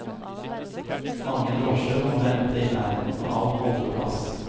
Mange drosjer må vente i nærheten av holdeplass.